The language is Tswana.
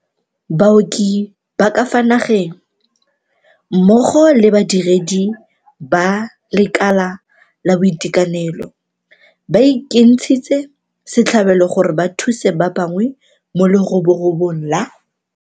Baoki ba ka fa nageng, mmogo le badire di ba lekala la boitekanelo, ba ikentshitse setlhabelo gore ba thuse ba bangwe mo leroborobong la